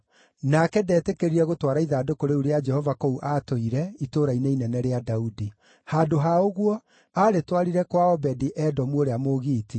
Nake ndetĩkĩrire gũtwara ithandũkũ rĩu rĩa Jehova kũu aatũire, itũũra-inĩ inene rĩa Daudi. Handũ ha ũguo, aarĩtwarire kwa Obedi-Edomu ũrĩa Mũgiiti.